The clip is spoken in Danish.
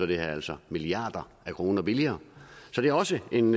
det her altså milliarder af kroner billigere så det er også en